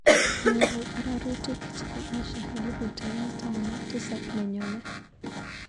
Anyoru ararutik chebo Asha elbut aeng' taman ak tisap neyone.